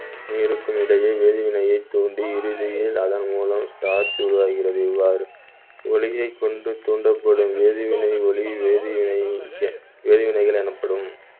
நீருக்கும் இடையே வேதிவினையைத் தூண்டி இறுதியில் அதன் மூலம் starch உருவாகிறது இவ்வாறு ஒளியைக் கொண்டு தூண்டப்படும் வேதிவினை ஒளி வேதிவினை வேதிவினைகள் எனப்படும்.